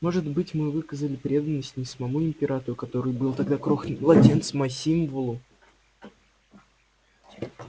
может быть мы выказали преданность не самому императору который был тогда крохотным младенцем а символу